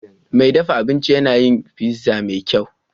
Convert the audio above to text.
Mai dafa abinci yana yin pizza mafi kyau.